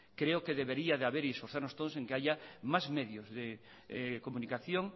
creo que debería de haber y esforzarnos todos en que haya más medios de comunicación